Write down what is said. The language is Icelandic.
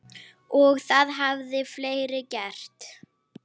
Og það hafa fleiri gert.